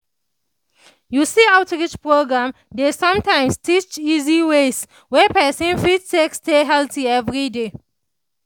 you see outreach programs dey sometimes teach easy ways wey person fit take stay healthy every day